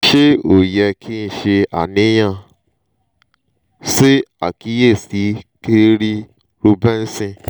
ṣe o yẹ ki n ṣe aniyan? ṣe akiyesi kerri reubenson